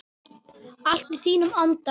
Allt í þínum anda.